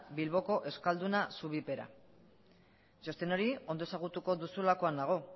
bilboko euskalduna zubipera txosten hori ondo ezagutuko duzulakoan nago